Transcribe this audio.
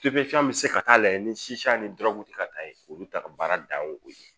bɛ se ka taa lajɛ ni siya ni dura ti ka taa ye olu ta ka baara dan ye o ye